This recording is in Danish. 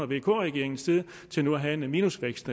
vk regeringens tid til nu at have en minusvækst